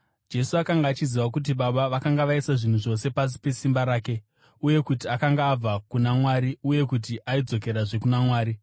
Jesu akanga achiziva kuti Baba vakanga vaisa zvinhu zvose pasi pesimba rake, uye kuti akanga abva kuna Mwari uye kuti aidzokerazve kuna Mwari,